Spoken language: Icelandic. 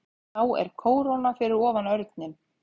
Þá er kóróna fyrir ofan örninn.